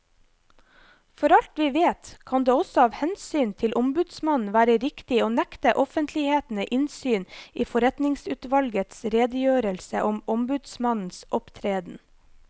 For alt vi vet, kan det også av hensyn til ombudsmannen være riktig å nekte offentligheten innsyn i forretningsutvalgets redegjørelse om ombudsmannens opptreden.